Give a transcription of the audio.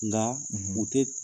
Nga u tɛ